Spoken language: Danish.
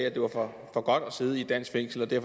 at det var for godt at sidde i et dansk fængsel og det